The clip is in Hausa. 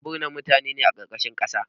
Ana bisinan mutane a ƙarƙashin ƙasa